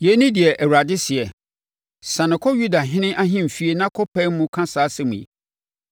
Yei ne deɛ Awurade seɛ, “Siane kɔ Yudahene ahemfie na kɔpae mu ka saa asɛm yi: